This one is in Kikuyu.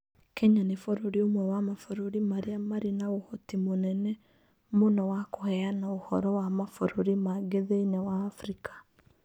Kenya nĩ bũrũri ũmwe wa mabũrũri marĩa marĩ na ũhoti mũnene mũno wa kũheana ũhoro wa mabũrũri mangĩ thĩinĩ wa Afrika.